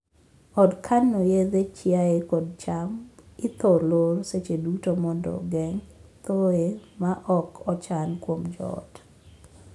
Od kano yedhe chiaye kod cham ithor lor seche duto mondo geng' thooye ma ok ochan kuom joot.